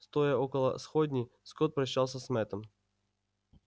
стоя около сходней скотт прощался с мэттом